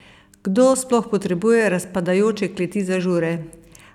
Kdo sploh potrebuje razpadajoče kleti za žure?